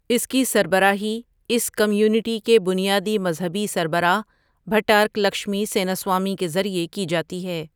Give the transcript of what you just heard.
اس کی سربراہی اس کمیونٹی کے بنیادی مذہبی سربراہ بھٹارک لکشمی سینا سوامی کے ذریعے کی جاتی ہے۔